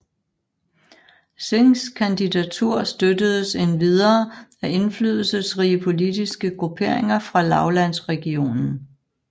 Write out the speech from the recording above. Singhs kandidatur støttedes endvidere af indflydelsesrige politiske grupperinger fra lavlandsregionen